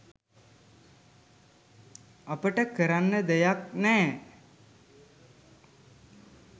අපට කරන්න දෙයක් නෑ